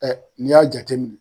Ɛ n'i y'a jate minɛ.